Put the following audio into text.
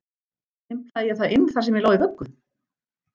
Stimplaði ég það inn þar sem ég lá í vöggu?